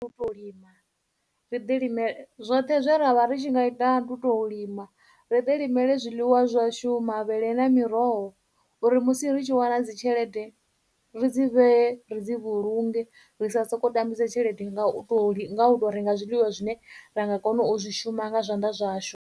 U tou lima ri ḓi lime, zwoṱhe zwe ra vha ri tshi nga ita ndi u tou lima, ri ḓi limele zwiḽiwa zwashu, mavhele, na miroho uri musi ri tshi wana dzitshelede ri dzi vhee, ri dzi vhulunge, ri sa sokou tambisa tshelede nga u tou, nga u tou renga zwiḽiwa zwine ra nga kona u zwi shuma nga zwanḓa zwashu.